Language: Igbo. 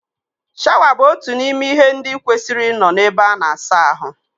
Shawa bụ otu n'ime ihe ndị kwesịrị ịnọ n'ebe ana asa ahụ